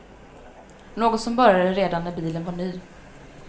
Något som började redan när bilen var ny.